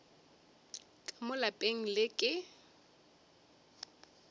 ka mo lapeng le ke